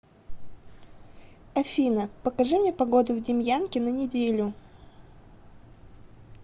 афина покажи мне погоду в демьянке на неделю